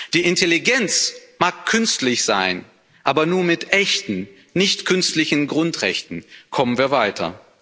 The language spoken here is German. Die Intelligenz mag künstlich sein, aber nur mit echten, nicht künstlichen Grundrechten kommen wir weiter.